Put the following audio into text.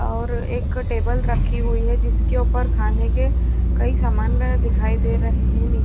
और एक टेबल रखी हुई है जिसके ऊपर खाने के कई सामान दिखाई दे रहे है। नी--